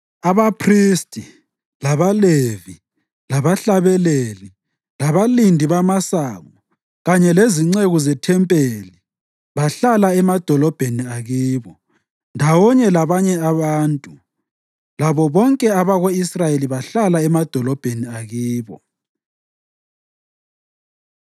Abaphristi, labaLevi, labahlabeleli, labalindi bamasango kanye lezinceku zethempelini bahlala emadolobheni akibo, ndawonye labanye abantu, labo bonke abako-Israyeli bahlala emadolobheni akibo.